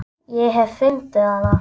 Ég hef fundið hana!